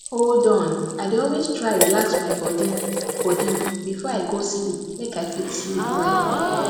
hold on i dey always try relax my body body before i go sleep make i fit sleep well